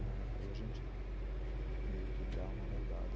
Ãh, e a gente meio que dá uma moldada.